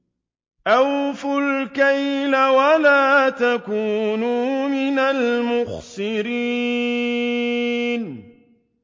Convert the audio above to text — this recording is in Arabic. ۞ أَوْفُوا الْكَيْلَ وَلَا تَكُونُوا مِنَ الْمُخْسِرِينَ